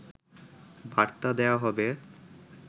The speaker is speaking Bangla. বার্তা দেয়া হবে